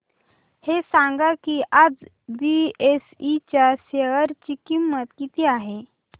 हे सांगा की आज बीएसई च्या शेअर ची किंमत किती आहे